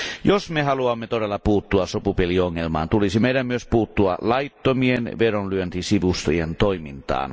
Jos me haluamme todella puuttua sopupeliongelmaan, tulisi meidän myös puuttua laittomien vedonlyöntisivustojen toimintaan.